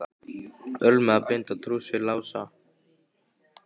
Ölmu að binda trúss við Lása.